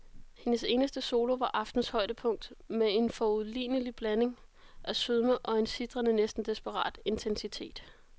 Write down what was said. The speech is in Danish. Hendes eneste solo var aftenens højdepunkt med en foruroligende blanding af sødme og en sitrende, næsten desperat intensitet.